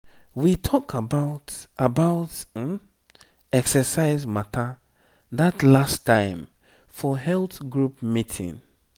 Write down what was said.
we talk about about exercise matter that last time for health group meeting.